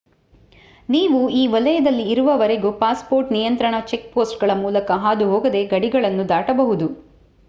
ನೀವು ಈ ವಲಯದಲ್ಲಿ ಇರುವವರೆಗೂ ಪಾಸ್‌ಪೋರ್ಟ್ ನಿಯಂತ್ರಣ ಚೆಕ್‌ಪೋಸ್ಟ್‌ಗಳ ಮೂಲಕ ಹಾದುಹೋಗದೆ ಗಡಿಗಳನ್ನು ದಾಟಬಹುದು